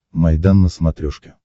майдан на смотрешке